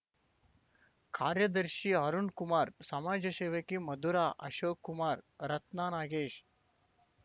ಕಾರ್ಯದರ್ಶಿ ಅರುಣ್‌ಕುಮಾರ್ ಸಮಾಜ ಸೇವಕಿ ಮಧುರಾ ಅಶೋಕ್ ಕುಮಾರ್ ರತ್ನ ನಾಗೇಶ್